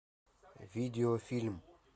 видеофильм